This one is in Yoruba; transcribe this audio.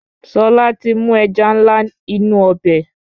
Ṣọlá ti mú ẹja ńlá inú ọbẹ̀.